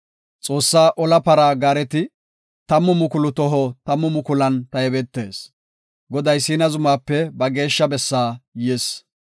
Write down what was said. Xoossaa ola para gaareti tammu mukulu toho tammu mukulan taybetees; Goday Siina zumaape ba geeshsha bessaa yis.